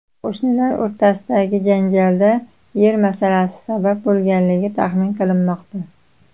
Qo‘shnilar o‘rtasidagi janjalga yer masalasi sabab bo‘lganligi taxmin qilinmoqda.